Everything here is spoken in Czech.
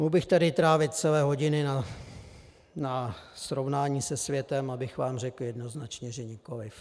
Mohl bych tady trávit celé hodiny na srovnání se světem, abych vám řekl jednoznačně, že nikoliv.